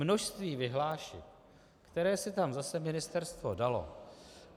Množství vyhlášek, které si tam zase ministerstvo dalo.